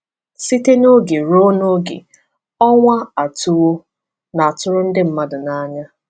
Site n’oge ruo n’oge, ọnwa atụwo na tụrụ ndị mmadụ n’anya.